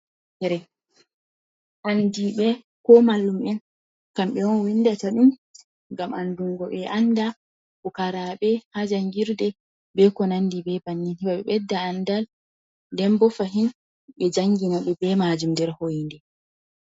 Andi ɓe ko malum'en, kamɓe on windata ɗum gam andungo be anda. Pukarabe ha jangirde be ko nandi be bannin. Heɓa ɓe ɓedda andal, denbo fahin ɓe jangina ɓe be majum nder ho’inde.